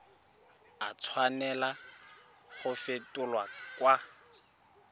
a tshwanela go fetolwa kwa